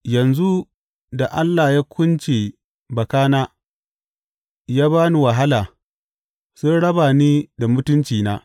Yanzu da Allah ya kunce bakana ya ba ni wahala sun raba ni da mutuncina.